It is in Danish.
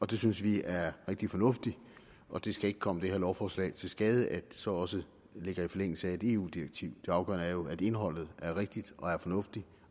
det synes vi er rigtig fornuftigt og det skal ikke komme det her lovforslag til skade at det så også ligger i forlængelse af et eu direktiv det afgørende er jo at indholdet er rigtigt og fornuftigt